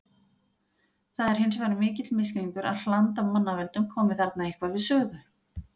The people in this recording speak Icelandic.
Það er hins vegar mikill misskilningur að hland af mannavöldum komi þarna eitthvað við sögu.